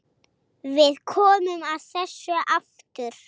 Við komum að þessu aftur.